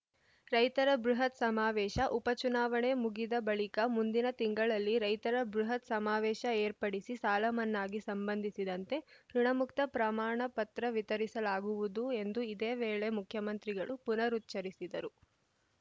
ರೈತರ ಬೃಹತ್‌ ಸಮಾವೇಶ ಉಪಚುನಾವಣೆ ಮುಗಿದ ಬಳಿಕ ಮುಂದಿನ ತಿಂಗಳಲ್ಲಿ ರೈತರ ಬೃಹತ್‌ ಸಮಾವೇಶ ಏರ್ಪಡಿಸಿ ಸಾಲಮನ್ನಾಗೆ ಸಂಬಂಧಿಸಿದಂತೆ ಋುಣಮುಕ್ತ ಪ್ರಮಾಣಪತ್ರ ವಿತರಿಸಲಾಗುವುದು ಎಂದು ಇದೇ ವೇಳೆ ಮುಖ್ಯಮಂತ್ರಿಗಳು ಪುನರುಚ್ಚರಿಸಿದರು